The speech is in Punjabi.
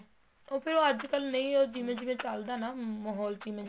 ਉਹ ਫ਼ੇਰ ਅੱਜਕਲ ਨਹੀਂ ਜਿਵੇਂ ਜਿਵੇਂ ਚੱਲਦਾ ਨਾ ਮਾਹੋਲ ਜਿਵੇਂ ਜਿਵੇਂ